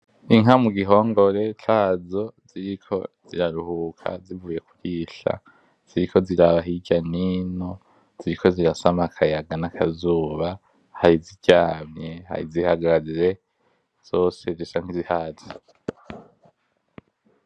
Inka mu gihongore cazo ziriko ziraruhuka zivuye kurisha, ziriko ziraba hirya nino, ziriko sama akayaga na kazuba hari iziryamye hari izihagaze. Zose zisa nkizihaze.